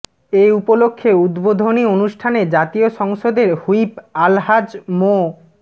এ উপলক্ষে উদ্বোধনী অনুষ্ঠানে জাতীয় সংসদের হুইপ আলহাজ মো